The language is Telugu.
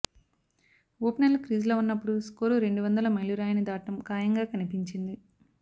ఓపెనర్లు క్రీజ్లో ఉన్నప్పుడు స్కోరు రెండు వందల మైలురాయిని దాటడం ఖాయంగా కనిపించింది